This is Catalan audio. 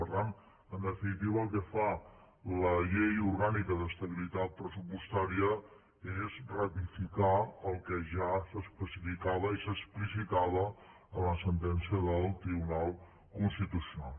per tant en definitiva el que fa la llei orgànica d’estabilitat pressupostària és ratificar el que ja s’especificava i s’explicitava en la sentència del tribunal constitucional